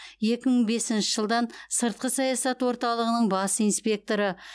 екі мың бесінші жылдан сыртқы саясат орталғының бас инспекторы